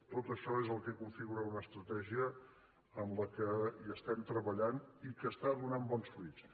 tot això és el que con·figura una estratègia en la qual estem treballant i que està donant bons fruits